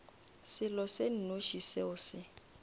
selo se nnoši seo se